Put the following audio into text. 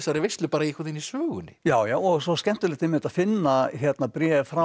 veislu bara í sögunni já já og svo skemmtilegt einmitt að finna bréf frá